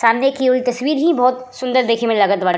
सामने की ओइ तस्वीर ही बहोत सुन्दर देखे में लागत बाड़ --